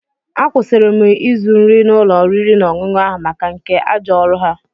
Akwụsịri m ịzụ nri n'ụlọ oriri na ọṅụṅụ ahụ maka nke ajọ ọrụ ha.